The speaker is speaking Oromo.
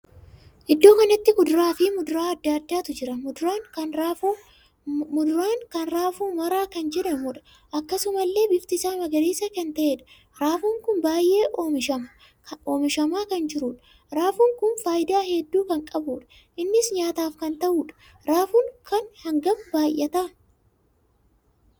Iddoo kanatti kuduraa fi muduraa addaa addaatu jira. muduraan kun raafuu maraa kan jedhamuudha. akkasumallee bifti isaa magariisa kan taheedha. raafuu kun baay'ee oomishamaa kan jiruudha. raafuun kun faayidaa hedduu kan qabuudha. innis nyaataaf kan tahuudha. raafuun kan hagam baay'ata!